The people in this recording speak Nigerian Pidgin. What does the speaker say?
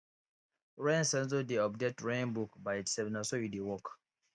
rain sensor dey update rain book by itself na so e dey work